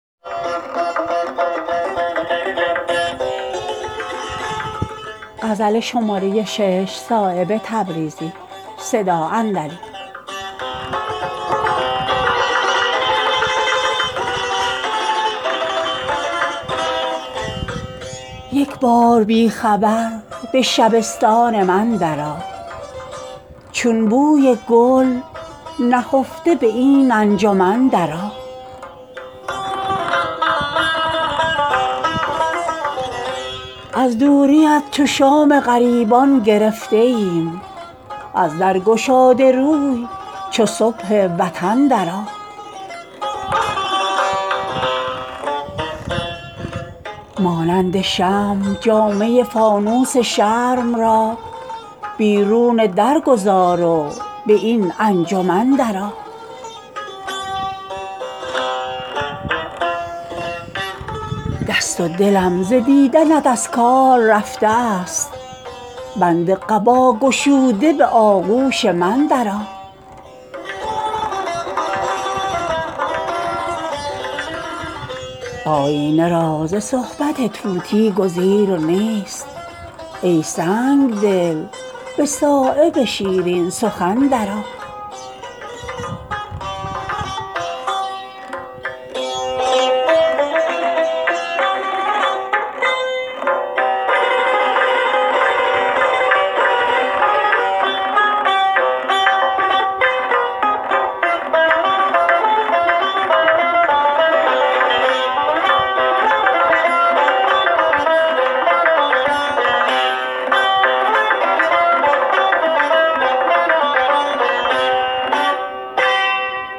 یک بار بی خبر به شبستان من درآ چون بوی گل نهفته به این انجمن درآ از دوریت چو شام غریبان گرفته ایم از در گشاده روی چو صبح وطن درآ تا چند در لباس توان کرد عرض حال یک ره به خلوتم به ته پیرهن درآ مانند شمع جامه فانوس شرم را بیرون در گذار و به این انجمن درآ خونین دلان ز شوق لقای تو سوختند خندان تر از سهیل به خاک یمن درآ دست و دلم ز دیدنت از کار رفته است بند قبا گشوده به آغوش من درآ آیینه را ز صحبت طوطی گزیر نیست ای سنگدل به صایب شیرین سخن درآ